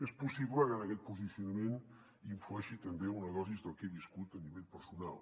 és possible que en aquest posicionament hi influeixin també unes dosis del que he viscut a nivell personal